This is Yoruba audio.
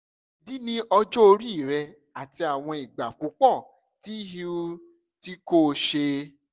idi ni ọjọ ori rẹ ati awọn igba pupọ ti iui ti ko ṣẹ